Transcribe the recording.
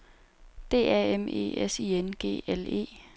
D A M E S I N G L E